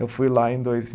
Eu fui lá em dois